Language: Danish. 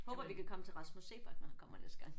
Håber vi kan komme til Rasmus Seebach når han kommer næste gang